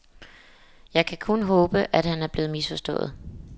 Jeg kan kun håbe, at han er blevet misforstået.